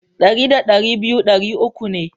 Dari da dari biyu dari uku ne.